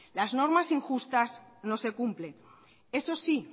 las normas injustas no se cumplen eso sí